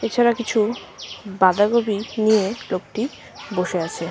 এছাড়া কিছু বাঁধাকপি নিয়ে লোকটি বসে আছে।